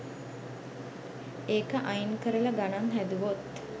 ඒක අයින් කරලා ගණන් හැදුවොත්